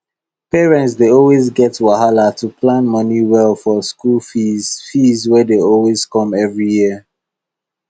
parents dey always get wahala to plan money well for school fees fees wey dey come every year